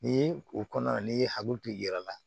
Ni o kɔnɔ n'i ye hakili to i yɛrɛ la